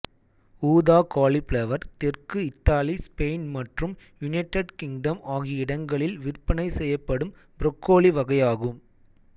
ஊதா காலிஃபிளவர் தெற்கு Italy Spain மற்றும் யுனைட்டட் கிங்டம் ஆகிய இடங்களில் விற்பனை செய்யப்படும் ப்ரோக்கோலி வகையாகும்